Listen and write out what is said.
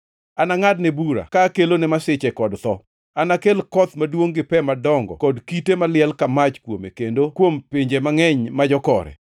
Anangʼadne bura ka kelone masiche kod tho, anakel koth maduongʼ gi pe madongo kod kite maliel mach kuome kendo kuom pinje mangʼeny ma jokore.